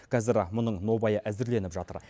қазір мұның нобайы әзірленіп жатыр